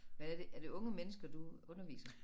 Hvad er det er det unge mennesker du underviser?